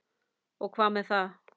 Og hvað með það!